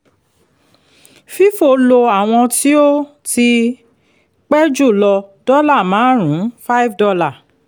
fifo lo àwọn tí ó ti pẹ́ jùlọ dọ́là márùn-ún five dollar